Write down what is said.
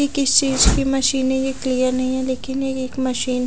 यह किसी चीज की मशीन है यह नही है एक यह मशीन --